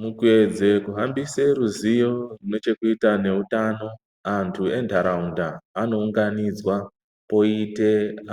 Mukuedze kuhambisa ruzivo neche kuita ne utano antu endaraunda ano unganidzwa poite